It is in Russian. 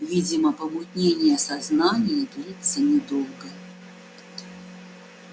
видимо помутнение сознания длится недолго